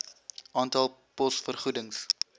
aantal pos vergoedings